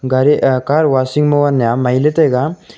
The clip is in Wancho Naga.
gari a car washing mo ne mai ley taiga.